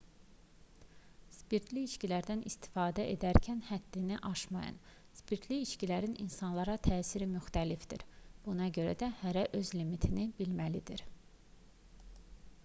spirtli içkilərdən istifadə edərkən həddini aşmayın spirtli içkilərin insanlara təsiri müxtəlifdir buna görə də hərə öz limitini bilməlidir